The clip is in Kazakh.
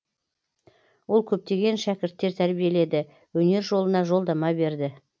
ол көптеген шәкірттер тәрбиеледі өнер жолына жолдама берді